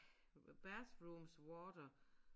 Bathroom's water